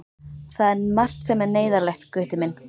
Það er margt sem er neyðarlegt, Gutti minn.